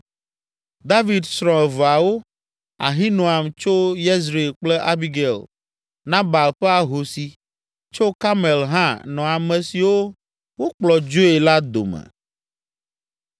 David srɔ̃ eveawo, Ahinoam tso Yezreel kple Abigail, Nabal ƒe ahosi, tso Karmel hã, nɔ ame siwo wokplɔ dzoe la dome.